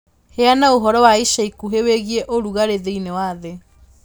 Heana ũhoro wa ica ikuhĩ wĩgiĩ ũrugarĩ thĩinĩ wa thĩ